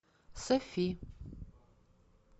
софи